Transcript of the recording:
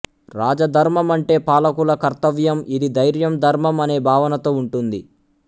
రాజధర్మం అంటే పాలకుల కర్తవ్యం ఇది ధైర్యం ధర్మం అనే భావనతో ఉంటుంది